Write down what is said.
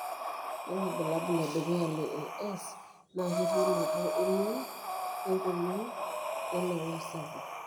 Ore ilbulabul ledukuya le AS na ketii naboo emion enkoriong wenauri sapuk.